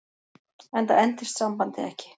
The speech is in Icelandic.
Enda entist sambandið ekki.